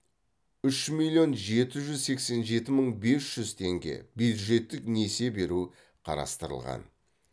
үш миллион жеті жүз сексен жеті мың бес жүз теңге бюджеттік несие беру қарастырылған